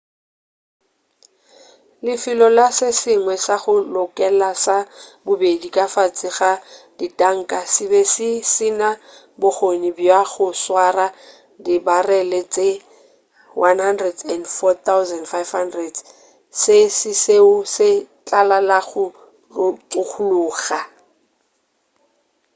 lefelo la se sengwe sa go lokela sa bobedi ka fase ga ditanka se be se sena bokgone bja go swara dibarele tše 104,500 se sešo se tlala la go tšhologa